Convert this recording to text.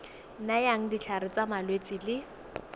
nayang ditlhare tsa malwetse le